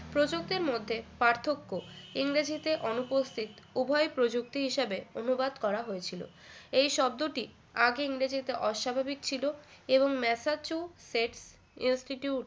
প্রযুক্তির মধ্যে পার্থক্য ইংরেজিতে অনুপস্থিত উভই প্রযুক্তি হিসেবে অনুবাদ করা হয়েছিল এই শব্দটি আগে ইংরেজিতে অস্বাভাবিক ছিল এবং massachusetts institute